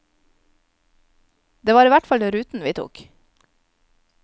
Det var i hvert fall ruten vi tok.